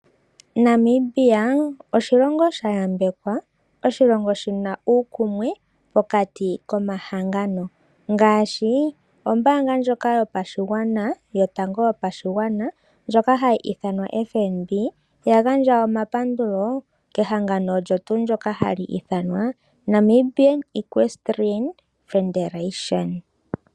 Namibia oshilongo sha yambekwa, oshilongo shina uukumwe pokati komahangano ngaashi ombaanga ndjoka yopashigwana ndjoka hayi ithanwa FNB oya gandja omapandulo kehangano ndoka hali ithanwa Namibian Equesterian Federetion.